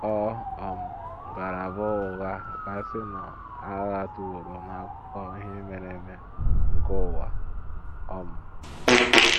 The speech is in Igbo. Ọ um gara- abụ ụgha kasịnụ a ghatụworo n’akụkọ ihe mere eme nke ụwa um. ”